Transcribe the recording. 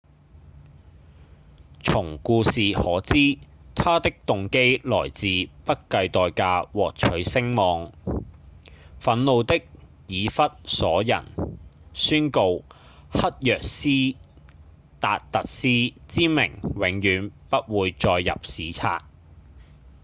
從故事可知他的動機來自不計代價獲取聲望憤怒的以弗所人宣告黑若斯達特斯之名永遠都不會載入史冊